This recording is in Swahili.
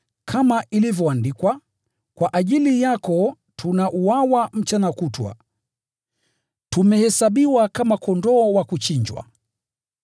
Kama ilivyoandikwa: “Kwa ajili yako tunauawa mchana kutwa; tumehesabiwa kama kondoo wa kuchinjwa.”